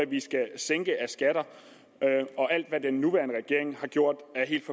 vi skal sænke af skatter og alt hvad den nuværende regering har gjort